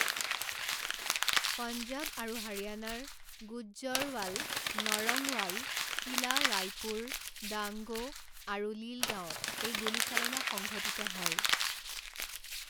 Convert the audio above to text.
পঞ্জাব আৰু হাৰিয়ানাৰ গুজ্জৰ্ৱাল, নৰংৱাল, কিলা ৰায়পুৰ, ডাংগো, আৰু লীল গাঁৱত এই গুলীচালনা সংঘটিত হয়।